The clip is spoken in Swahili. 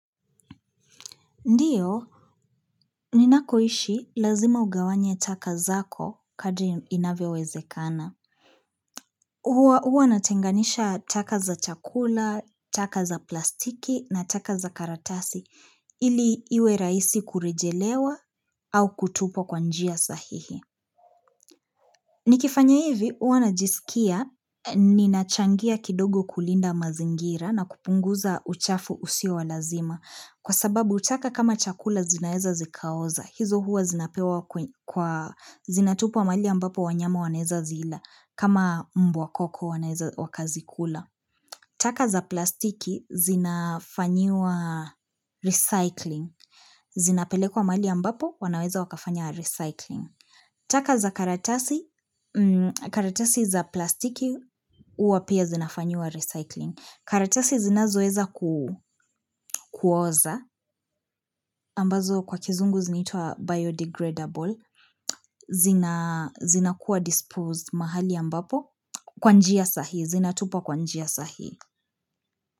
Ndio, ninakoishi lazima ugawanye taka zako kadri inavyowezekana. Huwa natenganisha taka za chakula, taka za plastiki na taka za karatasi ili iwe rahisi kurejelewa au kutupwa kwa njia sahihi. Nikifanya hivi, huwa najisikia, ninachangia kidogo kulinda mazingira na kupunguza uchafu usio wa lazima. Kwa sababu taka kama chakula zinaeza zikaoza, hizo huwa zinapewa kwa, zinatupwa mahali ambapo wanyama wanaeza zila, kama mbwa koko wanaeza wakazikula. Taka za plastiki zinafanyiwa recycling, zinapelekwa mahali ambapo wanaweza wakafanya recycling. Taka za karatasi, karatasi za plastiki huwa pia zinafanyiwa recycling. Karatasi zinazoeza kuoza, ambazo kwa kizungu zinaitwa biodegradable, zinakuwa disposed mahali ambapo kwa njia sahihi, zinatupwa kwa njia sahihi.